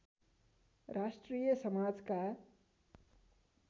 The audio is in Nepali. राष्ट्रिय समाजका